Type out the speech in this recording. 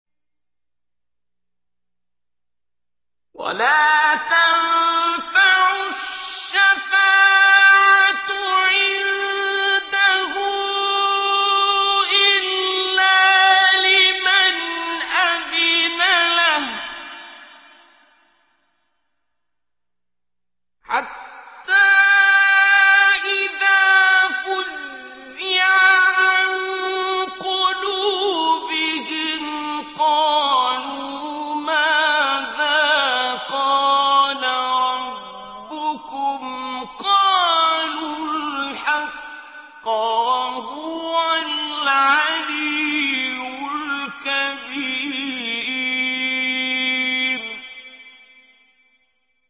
وَلَا تَنفَعُ الشَّفَاعَةُ عِندَهُ إِلَّا لِمَنْ أَذِنَ لَهُ ۚ حَتَّىٰ إِذَا فُزِّعَ عَن قُلُوبِهِمْ قَالُوا مَاذَا قَالَ رَبُّكُمْ ۖ قَالُوا الْحَقَّ ۖ وَهُوَ الْعَلِيُّ الْكَبِيرُ